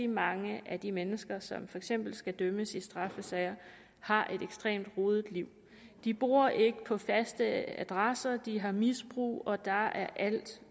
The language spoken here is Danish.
mange af de mennesker som for eksempel skal dømmes i straffesager har et ekstremt rodet liv de bor ikke på faste adresser de her misbrug og der er alt